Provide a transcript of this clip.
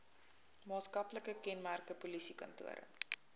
maatskaplike kenmerke polisiekantore